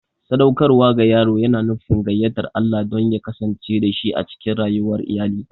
Sadaukarwa ga yaro yana nufin gayyatar Allah don ya kasance dashi a cikin rayuwar iyali.